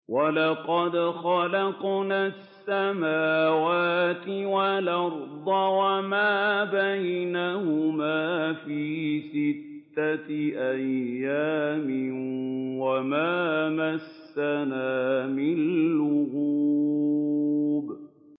وَلَقَدْ خَلَقْنَا السَّمَاوَاتِ وَالْأَرْضَ وَمَا بَيْنَهُمَا فِي سِتَّةِ أَيَّامٍ وَمَا مَسَّنَا مِن لُّغُوبٍ